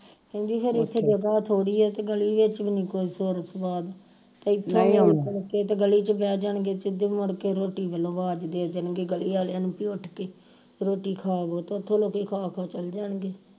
ਕਹਿੰਦੀ ਹਰੇ ਉਥੇ ਜਗ੍ਹਾ ਥੋੜੀ ਆ ਤੇ ਗਲੀ ਵਿਚ ਵੀ ਨਹੀਂ ਕੋਈ ਸੁਰ ਸਵਾਦ ਤੇ ਇਥੇ ਹੀ ਗਲੀ ਵਿਚ ਬਹਿ ਜਾਣਗੇ ਸਿੱਧੀ ਮੁੜਕੇ ਰੋਟੀ ਵਲੋਂ ਅਵਾਜ ਦੇ ਦੇਣਗੇ ਗਲੀ ਵਾਲਿਆਂ ਨੂੰ ਕਿ ਉਠ ਕੇ ਰੋਟੀ ਖਾ ਲੋ ਤੇ ਉਥੋਂ ਰੋਟੀ ਖਾ ਕੇ ਚਲ ਜਾਣਗੇ